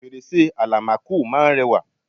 fèrèsé àlámakò máa ń rẹwà